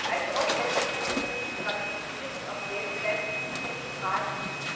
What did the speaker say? Allzu oft werden diese Konventionen nicht ratifiziert, und selbst wenn, bleibt die Umsetzung fraglich.